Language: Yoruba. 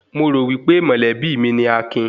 Mo rò wípé mọ̀lẹ́bí mi ni Akin